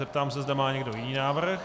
Zeptám se, zda má někdo jiný návrh.